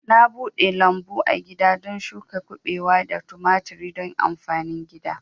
Na bude lambu agida don shuka kubewa da tumaturi don amfanin gida